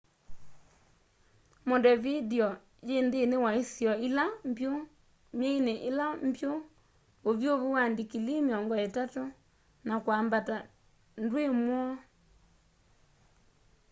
montevideo yi nthini wa isio ila mbyu; myeini ila mbyu uvyuvu wa ndikilii +30°c na kwambata ndwi mwoo